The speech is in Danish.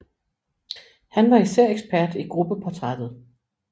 Han var især ekspert i gruppeportrættet